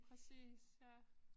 Præcis ja